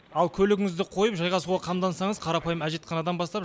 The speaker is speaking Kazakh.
ал көлігіңізді қойып жайғасуға қамдансаңыз қарапайым әжетханадан бастап